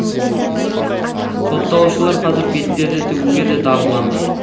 сотталушылар қазір бетперде тігуге де дағдыланды